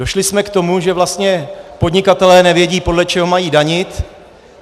Došli jsme k tomu, že vlastně podnikatelé nevědí, podle čeho mají danit.